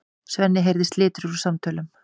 Svenni heyrir slitur úr samtölunum.